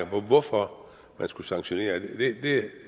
på hvorfor man skulle sanktionere det